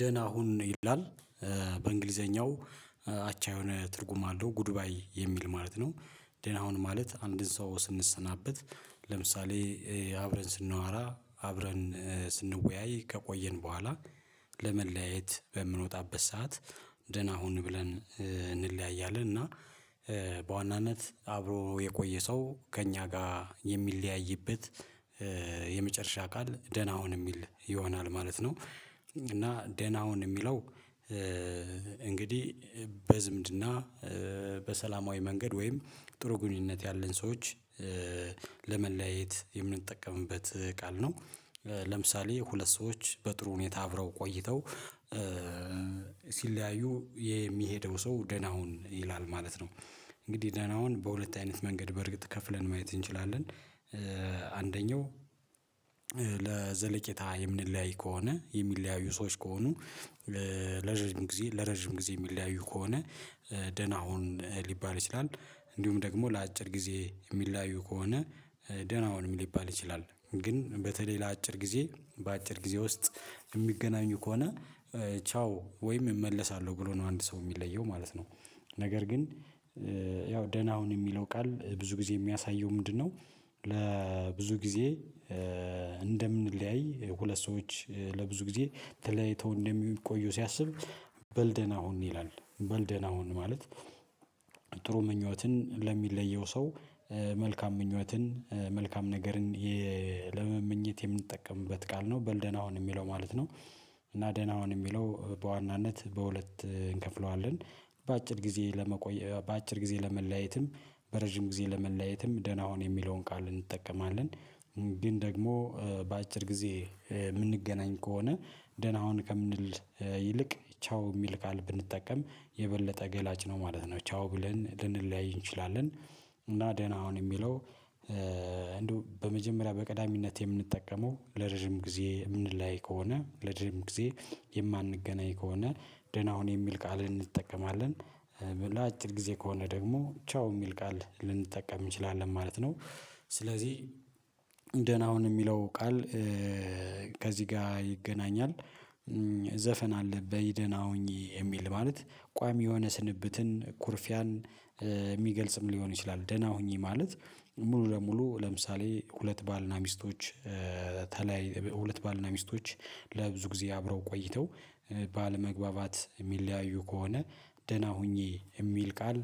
ደህና ሁን ይላል፤ በእንግሊዘኛው አቻ የሆነ ትርጉም አለው ጉድ ባይ የሚል ማለት ነው ደህና ሁን ማለት አንድን ሰው ስንሰናበት ለምሳሌ አብረን ስናወራ፤ አብረን ስንወያይ ከቆየን በኋላ፤ ለመለያየት በምንወጣበት ሰዓት ደህና ሁን ብለን እንለያያለን እና በዋናነት አብሮ የቆየ ሰው ከእኛ ጋር የሚለያይበት የመጨረሻ ቃል ደህና ሁን የሚል ይሆናል ማለት ነው እና ደህና ሁን የሚለው፤ እንግዲህ በዝምድና፤ በሰላማዊ መንገድ ወይም ጥሩ ግንኙነት ያለን ሰዎች ለመለያየት የምንጠቀምበት ቃል ነው ለምሳሌ ሁለት ሰዎች በጥሩ ሁኔታ አብረው ቆይተው፤ ሲለያዩ የሚሄደው ሰው ደህና ሁን ይላል ማለት ነው። እንግዲህ ደህና ሁን በሁለት አይነት መንገድ በእርግጥ ከፍለን ማየት እንችላለን። አንደኛው ለዘለቄታ የምንለያይ ከሆነ የሚለያዩ ሰዎች ከሆኑ ለረጅም ጊዜ ለረጅም ጊዜ የሚለያዩ ከሆ፤ ደህና ሁን ሊባል ይችላል። እንዲሁም ደግሞ ለአጭር ጊዜ የሚለያዩ ከሆነ ደህና ሁንም ሊባል ይችላል። ግን በተለይ ለአጭር ጊዜ በአጭር ጊዜ ውስጥ የሚገናኙ ከሆነ ቻው ወይም እመለሳለሁ ብሎ ነው አንድ ሰው የሚለየው ማለት ነው። ነገር ግን ያው ደህና ሁን የሚለው ቃል ብዙ ጊዜ የሚያሳየው ምንድነው ለብዙ ጊዜ እንደምንለያይ ሁለት ሰዎች ለብዙ ጊዜ ተለይተው እንደሚቆዩ ሲያስብ በል ደህና ሁን ይላል በል ደህና ሁን ማለት ጥሩ ምኞትን ለሚለየው ሰ፤ መልካም ምኞትን፤ መልካም ነገርን ለመመኘት የምንጠቀምበት ቃል ነው። በል ደህና ሁን የሚለው ማለት ነው። እና ደህና አሁን የሚለው በዋናነት በሁለት እንከፍለዋለን በአጭር ጊዜ ለመቆየት በአጭር ጊዜ ለመለያየትም በረዥም ጊዜ ለመለያየትም ደህና ሁን የሚለውን ቃል እንጠቀማለን። ግን ደግሞ በአጭር ጊዜ የምንገናኝ ከሆነ ደህና ሁን ከምንል ይልቅ ቻው የሚል ቃል ብንጠቀም የበለጠ ገላጭ ነው ማለት ነው። ቻው ብለን ልንለያይ እንችላለን። እና ደህና አሁን የሚለው እንደው በመጀመሪያ በቅዳሚነት የምንጠቀመው ለረጅም ጊዜ የምንለያይ ከሆነ ለረጅም ጊዜ የማንገናኝ ከሆነ ደህና ሁን የሚል ቃል እንጠቀማለን። በላጭር ጊዜ ከሆነ ደግሞ ቻው የሚል ቃል ልንጠቀም እንችላለን ማለት ነው። ስለዚህ ደህና ሁን የሚለው ቃል ከዚህ ጋር ይገናኛል። ዘፈን አለ በይ ደና ሁኚ የሚል ማለት ቋሚ የሆነ ስንብትን፤ ኩርፊያን ሊሆን ይችላል። ደህና ሁኚ ማለት ሙሉ ለሙሉ ለምሳሌ ሁለት ባልና ሚስቶች ሁለት ባልና ሚስቶች ለብዙ ጊዜ አብረው ቆይተው ባለመግባባት የሚለያዩ ከሆነ ደህና ሁኚ የሚል ቃል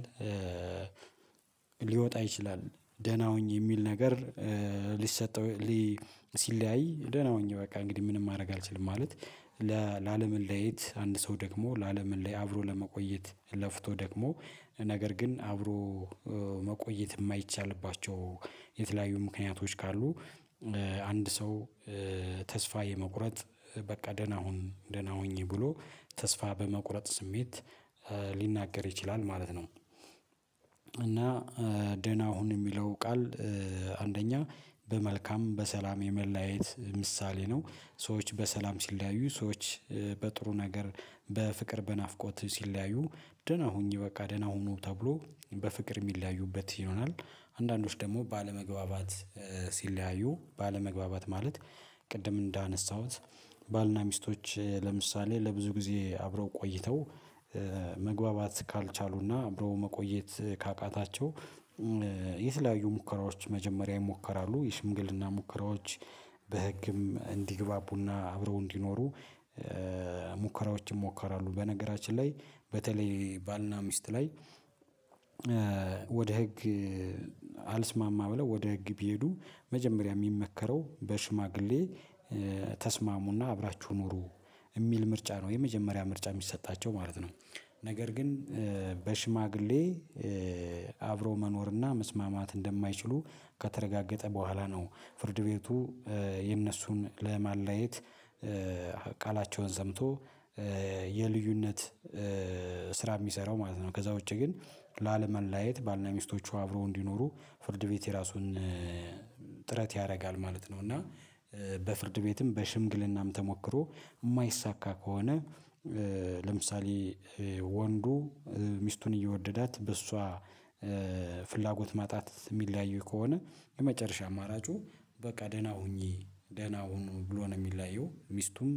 ሊወጣ ይችላል። ደህና ሁኚ የሚል ነገር ሊሰጠው ሲለያይ ደህና ሁኚ በቃ እንግዲህ ምንም ማድረግ አልችልም ማለት ለለመለያየት አንድ ሰው ደክሞ ላለመለያየት አብሮ ለመቆየት ለፍቶ ደክሞ ነገር ግን አብሮ መቆየት የማይቻልባቸው የተለያዩ ምክንያቶች ካሉ። አንድ ሰው ተስፋ የመቁረጥ በቃ ደህና ሁ፤ ደህና ሁኜ ብሎ፤ ተስፋ በመቁረጥ ስሜት ሊናገር ይችላል ማለት ነው እና ደህና ሁን የሚለው ቃል አንደኛ በመልካም በሰላም የመለያየት ምሳሌ ነው። ሰዎች በሰላም ሲለያ፤ ሰዎች በጥሩ ነገር፤ በፍቅር በናፍቆት ሲለያዩ ደህና ሁኚ በቃ ደህና ሁኑ ተብሎ በፍቅር የሚለያዩበት ይሆናል አንዳንዶች ደግሞ ባለመግባባት ሲለያዩ ባለመግባባት ማለት ቅድም እንዳነሳሁት ባልና ሚስቶች ለምሳሌ ለብዙ ጊዜ አብረው ቆይተው ካልቻሉና አብሮ መቆየት ካቃታቸው የተለያዩ ሙከራዎች መጀመሪያ ይሞከራሉ። የሽምግልና ሙከራዎች በህግም እንዲግባቡና አብረው እንዲኖሩ ሙከራዎችን ሞከራሉ። በነገራችን ላይ በተለይ ባልና ሚስት ላይ ህግ አልስማማ ብለው ወደ ህግ ቢሄዱ መጀመሪያ የሚመከረው በሽማግሌ ተስማሙና አብራችሁ ኑሩ የሚል ምርጫ ነው የመጀመሪያ ምርጫ የሚሰጣቸው ማለት ነው። ነገር ግን በሽማግሌ አብሮ መኖርና፤ መስማማት እንደማይችሉ ከተረጋገጠ በኋላ ነው ፍርድ ቤቱ እነሱን ለማለየት ቃላቸውን ሰምቶ የልዩነት ስራ የሚሰራው ማለት ነው ከዛ ውጪ ግን ላለመለያየት ባልና ሚስቶቹ አብረው እንዲኖሩ ፍርድ ቤት የራሱን ጥረት ያደርጋል ማለት ነው። እና በፍርድ ቤትም በሽምግልናም ተሞክሮ የማይሳካ ከሆነ ለምሳሌ ወንዱ ሚስቱን እየወደዳት በእሷ ፍላጎት ማጣት የሚለያዩ ከሆነ የመጨረሻ አማራጩ በቃ ደህና ሁኚ ደህና ሁኑ ብሎ ነው የሚለያየው ሚስቱም